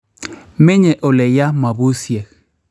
Menye ole ya mabusyeek